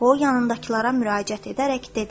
O yanındakılara müraciət edərək dedi: